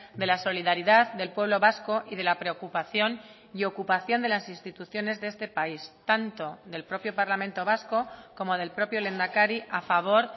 de la solidaridad del pueblo vasco y de la preocupación y ocupación de las instituciones de este país tanto del propio parlamento vasco como del propio lehendakari a favor